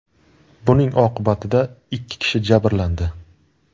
Buning oqibatida ikki kishi jabrlandi.